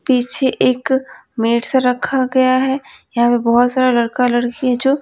पीछे एक मेड सा रखा गया है यहाँ पे बहुत सारा लड़का लड़की है जो --